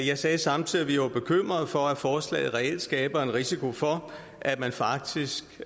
jeg sagde samtidig at vi var bekymrede for at forslaget reelt skaber en risiko for at man faktisk